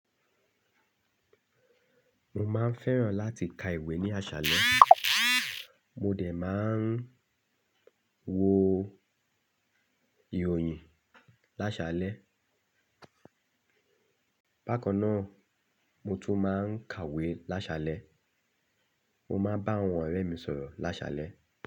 Mo máa ń fẹ́ràn láti ka ìwé ní àṣálẹ́. Mo dè máa ń wo ìròyìn lásalẹ́. Bákan náà, mo tún máa ń kàwé lásalẹ́. Mo máa ń bá àwọn ọ̀rẹ́ mi sọ̀rọ̀ lásalẹ́